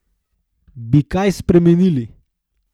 Bi kaj spremenili?